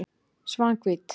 Svanhvít